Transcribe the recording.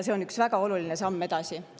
See on üks väga oluline samm edasi.